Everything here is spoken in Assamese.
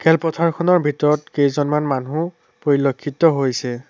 খেল পথাৰখনৰ ভিতৰত কেইজনমান মানুহ পৰিলক্ষিত হৈছে।